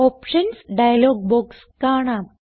options dialog box കാണാം